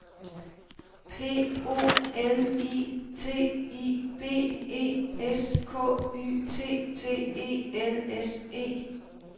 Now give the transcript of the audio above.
P O L I T I B E S K Y T T E L S E